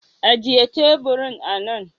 Ajiye teburin anan.